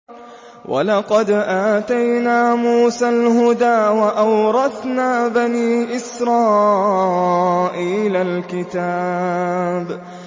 وَلَقَدْ آتَيْنَا مُوسَى الْهُدَىٰ وَأَوْرَثْنَا بَنِي إِسْرَائِيلَ الْكِتَابَ